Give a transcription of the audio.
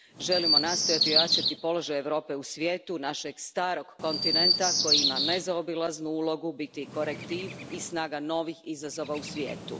Želimo nastojati ojačati položaj Europe u svijetu, našeg starog kontinenta koji ima nezaobilaznu ulogu biti korektiv i snaga novih izazova u svijetu.